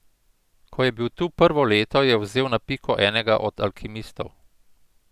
Ko je bil tu prvo leto, je vzel na piko enega od alkimistov.